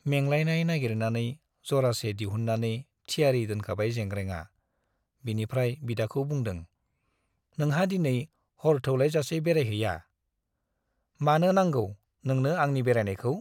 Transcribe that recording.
मेंलायलायनाय नागिरनानै जरासे दिहुन्नानै थियारि दोनखाबाय जेंग्रेंआ बिनिफ्राय बिदाखौ बुंदों - नोंहा दिनै हर थौलायजासे बेरायहैया ? मानो नांगौ नोंनो आंनि बेरायनायखौ ?